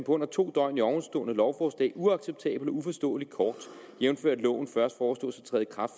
under to døgn i ovenstående lovforslag uacceptabel og uforståelig kort jævnfør at loven